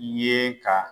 Ye ka